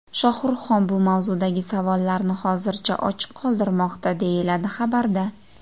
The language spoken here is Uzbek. Shohruxxon bu mavzudagi savollarni hozircha ochiq qoldirmoqda, deyiladi xabarda.